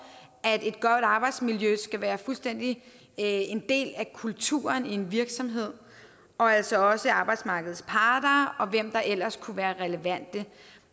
at et godt arbejdsmiljø skal være en del af kulturen i en virksomhed og altså også arbejdsmarkedets parter og hvem der ellers kunne være relevante